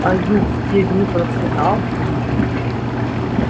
а юг в те дни процветал